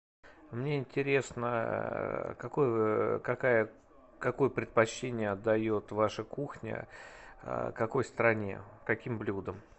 мне интересно какой какая какое предпочтение отдает ваша кухня какой стране каким блюдам